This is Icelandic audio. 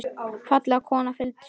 Falleg kona og fylgin sér.